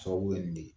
Sababu ye nin de